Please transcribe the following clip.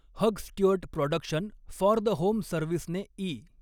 hug Stewart production for the home सर्व्हिसने E